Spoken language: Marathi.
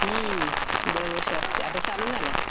हम्म. दरवर्षी असते. आता चालू झाल्या.